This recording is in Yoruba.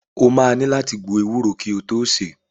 O máa ní láti gbo ewúro kí o tó sè é.